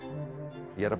ég er að